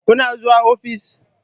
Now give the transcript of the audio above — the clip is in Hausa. Kuna zuwa ofis?